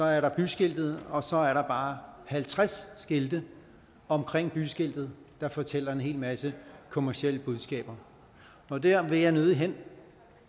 er der byskiltet og så er der bare halvtreds skilte omkring byskiltet der fortæller en hel masse kommercielle budskaber og der vil jeg nødig hen